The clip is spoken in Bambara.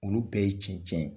Olu bɛɛ ye cɛncɛn ye.